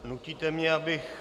Nutíte mě, abych -